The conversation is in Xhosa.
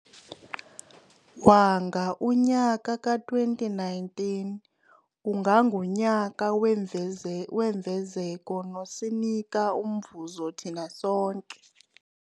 Wanga unyaka ka-2019 ungangunyaka wemfezeko nosinika umvuzo thina sonke.